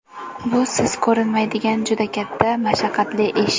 Bu siz ko‘rinmaydigan juda katta, mashaqqatli ish.